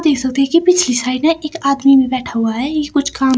ये सोफे के पिछले साइड ना इक आदमी भी बैठा हुआ है ये कुछ काम--